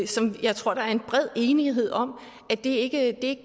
som jeg tror der er en bred enighed om ikke